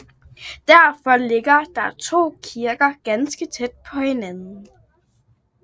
Derfor ligger der to kirker ganske tæt på hinanden